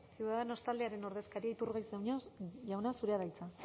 ciudadanos taldearen ordezkari iturgaiz jauna zurea da hitza